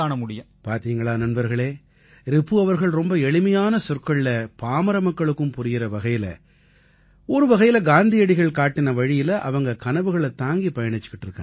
பார்த்தீங்களா நண்பர்களே ரிபு அவர்கள் ரொம்ப எளிமையான சொற்கள்ல பாமர மக்களுக்கும் புரியற வகையில ஒருவகையில காந்தியடிகள் காட்டிய வழியில அவங்க கனவுகளைத் தாங்கிப் பயணிச்சுட்டு இருக்காங்க